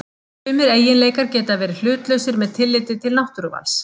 Sumir eiginleikar geta verið hlutlausir með tilliti til náttúruvals.